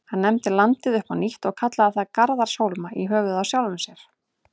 Hann nefndi landið upp á nýtt og kallaði það Garðarshólma, í höfuðið á sjálfum sér.